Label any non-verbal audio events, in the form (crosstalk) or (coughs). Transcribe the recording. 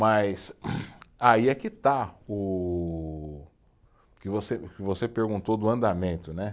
Mas (coughs) aí é que está o, o que você, o que você perguntou do andamento, né?